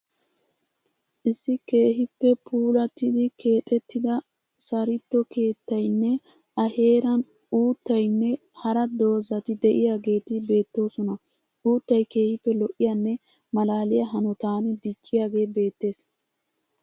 Issi keehippe puullatidi keexettida saritto keettayinne a heeran uttayinne hara doozzati de'iyageeti beettoosona. Uuttay keehippe lo''iyanne malaaliya hanotan dicciyagee beettees.